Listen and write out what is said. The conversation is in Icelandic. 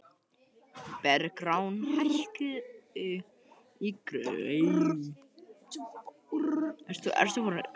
Bergrán, hækkaðu í græjunum.